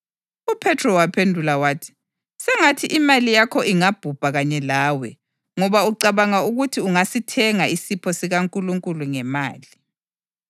UPhethro waphendula wathi, “Sengathi imali yakho ingabhubha kanye lawe ngoba ucabanga ukuthi ungasithenga isipho sikaNkulunkulu ngemali!